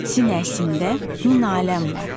Sinəsində min aləm var.